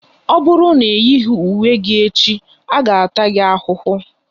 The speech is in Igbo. Ọ bụrụ na ị yighi uwe gị echi, a ga-taa gi ahụhụ!